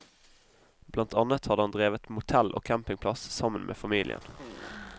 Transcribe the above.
Blant annet hadde han drevet motell og campingplass sammen med familien.